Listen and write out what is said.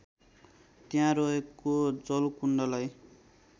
त्यहाँ रहेको जलकुण्डलाई